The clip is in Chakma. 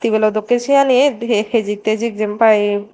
tebilo dokke siyanit he hejik tejik jempai.